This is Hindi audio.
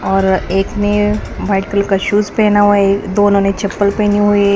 और एक ने व्हाइट कलर का शूज़ पहना हुआ है दोनों ने चप्पल पहनी हुई है।